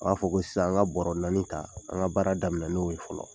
A b'a fɔ ko sisan an ka bɔrɔ naani ta an ka baara daminɛ n'o ye fɔlɔ